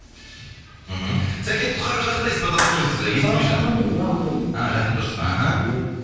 мхм сәке тұтқаға жақындайсызба дауысыңыз естілмей жатыр жақын тұрмын жақын тұрмын жақын тұрсыз ба аха ия